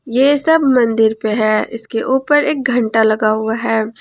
ये सब मंदिर पे है इसके ऊपर एक घंटा लगा हुआ है।